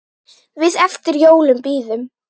Við eftir jólum bíðum.